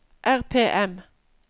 RPM